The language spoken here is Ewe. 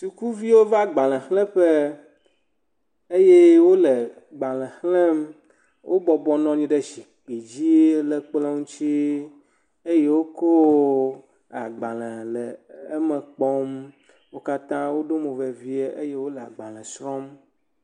Ŋutsu aɖe kple nyɔnuvi aɖe wonɔ anyi he adzɔ ge nukpɔmɔ dzi kpɔm, ke le adzɔ ge nukpɔmɔ dzia wɔna aɖe le edzi le dzedzem be korona virus. Wonɔ anyi ɖe aba dzi.